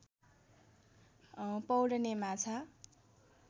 पौड्ने माछा